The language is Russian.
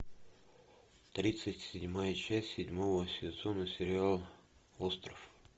тридцать седьмая часть седьмого сезона сериала остров